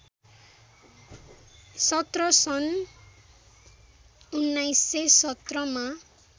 १७ सन् १९१७ मा